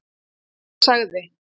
Hver sagði?